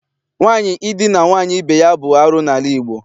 Nwaanyị idina nwaanyị ibe ya bụ arụ n'ala Igbo.